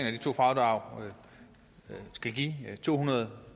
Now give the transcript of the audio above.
af de to fradrag skal give to hundrede